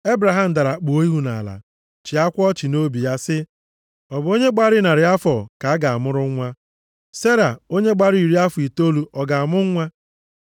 Ebraham dara kpuo ihu nʼala, chịakwa ọchị nʼobi ya sị, “Ọ bụ onye gbara narị afọ ka a ga-amụrụ nwa? Sera, onye gbara iri afọ itoolu ọ ga-amụ nwa?”